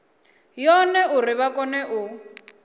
yone uri vha kone u